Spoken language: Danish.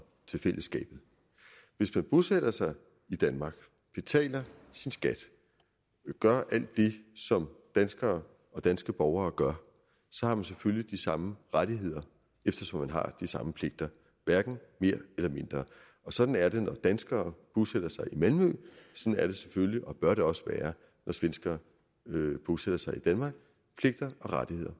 til fællesskabet hvis man bosætter sig i danmark betaler sin skat gør alt det som danskere og danske borgere gør så har man selvfølgelig de samme rettigheder eftersom man har de samme pligter hverken mere eller mindre sådan er det når danskere bosætter sig i malmø sådan er det selvfølgelig og bør det også være når svenskere bosætter sig i danmark pligter og rettigheder